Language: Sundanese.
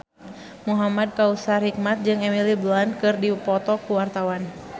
Muhamad Kautsar Hikmat jeung Emily Blunt keur dipoto ku wartawan